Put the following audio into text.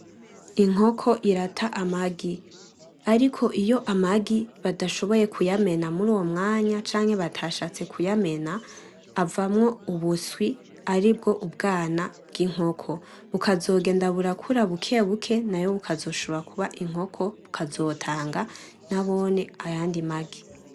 Inkoko irata amagi, ariko iyo amagi batashoboye kuyamena muruyo mwanya canke batashatse kuyamena, avamwo ubuswi aribwo ubwana bwinkoko, bukazogenda burakura buke buke nayo bukazoshobora kuba inkoko bukazotanga nabone ayandi magi.